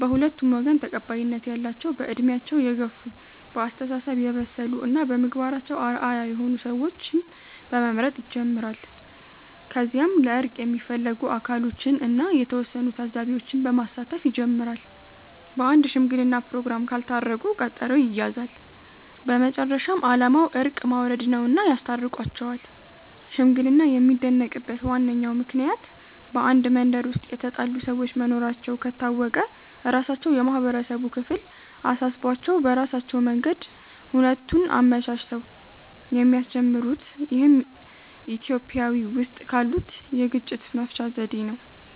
በሁለቱም ወገን ተቀባይነት ያላቸው በእድሜያቸው የገፍ፣ በአስተሳሰብ የበሰሉ እና በምግባራቸው አርአያ የሆኑ ሰዎችን በመምረጥ ይጀምራል። ከዚያም ለእርቅ የሚፈለጉት አካሎችን እና የተወሰኑ ታዛቢዎች በማሳተፍ ይጀመራል። በአንድ ሽምግለና ፕሮግራም ካልታረቁ ቀጠሮ ይያያዛል። በመጨረሻም አላማው እርቅ ማውረድ ነውና ያስታርቋቸዋል። ሽምግልና የሚደነቅበት ዋነኛው ምክንያት በአንድ መንደር ውስጥ የተጣሉ ሰዎች መኖራቸው ከታወቀ ራሳቸው የማህበረሰቡ ክፍል አሳስቧቸው በራሳቸው መንገድ ሁነቱን አመቻችተው የሚያስጀምሩት ይህም ኢትዮጵያዊ ውስጥ ካሉት የግጭት መፍቻ ዘዴ ነው።